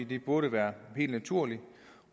det burde være helt naturligt